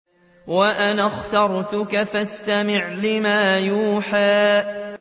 وَأَنَا اخْتَرْتُكَ فَاسْتَمِعْ لِمَا يُوحَىٰ